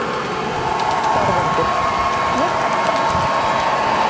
ÞORVALDUR: Ég þakka.